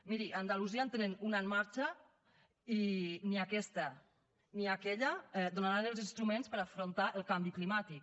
miri a andalusia en tenen una en marxa i ni aquesta ni aquella donaran els instruments per a afrontar el canvi climàtic